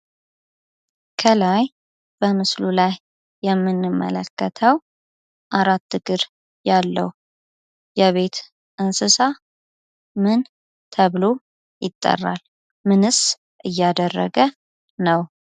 ከላይ በምስሉ ላይ የምንመለከተዉ አራት እግር ያለዉ የቤት እንስሳ ምን ተብሎ ይጠራል? ምንስ እያደረገ ነዉ?